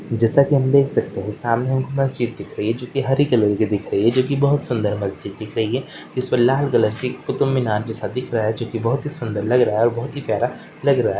जैसा कि हम देख सकते हैं सामने हमको मस्जिद दिख जो कि हरी कलर की दिख रही जो कि बहुत सुंदर मस्जिद दिख रही है जिस पर लाल कलर की कुतुब मीनार जैसा दिख रहा है जो कि बहुत ही सुंदर लग रहा है और बहुत ही प्यारा लग रहा है।